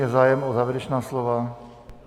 Je zájem o závěrečná slova?